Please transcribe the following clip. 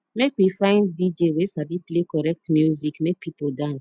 make we find dj wey sabi play correct music make pipo dance